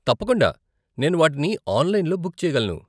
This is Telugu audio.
తప్పకుండా, నేను వాటిని ఆన్లైన్లో బుక్ చెయ్యగలను.